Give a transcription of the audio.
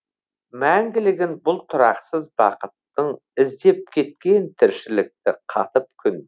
мәңгілігін бұл тұрақсыз бақыттың іздеп кеткен тіршілікті қатып күн